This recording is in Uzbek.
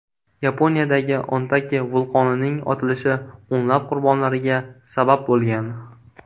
Yaponiyadagi Ontake vulqonining otilishi o‘nlab qurbonlarga sabab bo‘lgan.